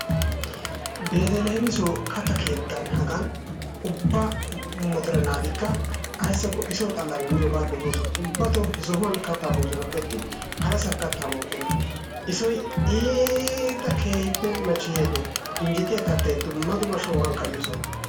Beteleemison katta keettan hagan ubba mottore naatikka ayssakko isoo xalan miyoga dossoosona ubbatton I sohuwa kattaa moossonappe attin harassan kattaa mookkona isoy iitta keehippe machchayianne injjettiya kattay dumma dumma shonggan ka'iyo soho.